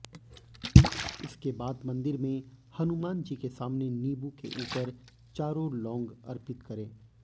इसके बाद मंदिर में हनुमानजी के सामने नींबू के ऊपर चारों लौंग अर्पित करें